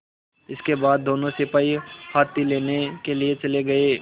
इसके बाद दोनों सिपाही हाथी लेने के लिए चले गए